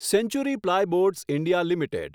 century plyboards India limited